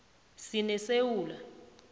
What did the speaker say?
sinesewula